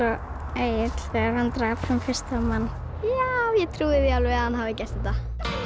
Egill þegar hann drap sinn fyrsta mann ég trúi því alveg að hann hafi gert þetta